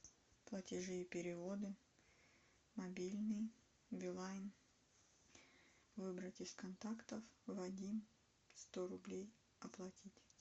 платежи и переводы мобильный билайн выбрать из контактов вадим сто рублей оплатить